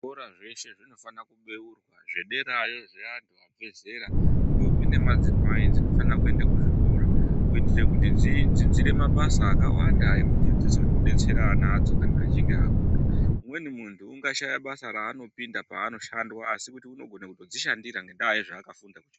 Zvikora zveshe zvinohana kubeyrwa zvederayo zveantu abve zera ndombi nemadzimai dzinofana kuenda kuzvikora. Kuitire kuti dzidzidzire mabasa akawanda ekuti dzizobetsera ana adzo kana achinge akura. Umweni muntu ungashaya basa raanopindwa panoshandwa asi unogona kutodzishandira ngendaa yezvaakafunda kuchikoro.